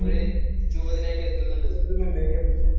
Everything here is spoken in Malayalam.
ഒര് ഒരു രൂപത്തിലേക്ക് എത്തുന്നുണ്ട്.